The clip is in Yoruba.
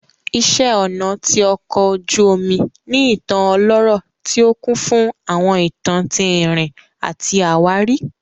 Iṣẹ́ ọnà ti ọkò ojú omu ní ìtàn ọlọ́rọ̀ tí ó kún fún àwọn ìtàn tí ìrìn àti àwárí